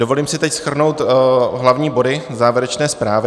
Dovolím si teď shrnout hlavní body závěrečné zprávy.